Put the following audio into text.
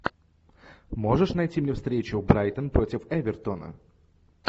можешь найти мне встречу брайтон против эвертона